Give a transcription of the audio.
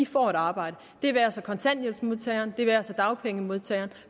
får et arbejde det være sig kontanthjælpsmodtageren det være sig dagpengemodtageren